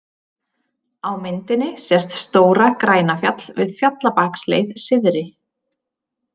Á myndinni sést Stóra-Grænafjall við Fjallabaksleið syðri.